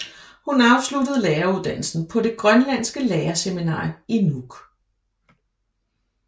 Hun afsluttede læreruddannelsen på det grønlandske lærerseminar i Nuuk